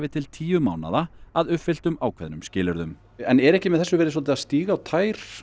til tíu mánaða að uppfylltum ákveðnum skilyrðum er ekki með þessu verið að stíga á tær